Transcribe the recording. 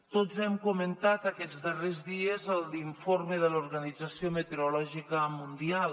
tots hem comentat aquests darrers dies l’informe de l’organització meteorològica mundial